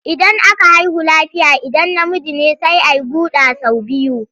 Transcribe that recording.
Idan aka haihu lafiya idan namiji ne sai a yi guɗa sau biyu.